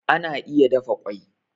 Ana iya dafa kwai